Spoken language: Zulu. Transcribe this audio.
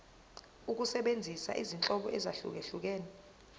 ukusebenzisa izinhlobo ezahlukehlukene